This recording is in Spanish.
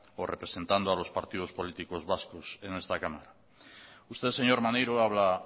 o representando a los partidos políticos vascos en esta cámara usted señor maneiro habla